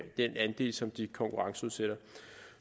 den andel som de konkurrenceudsætter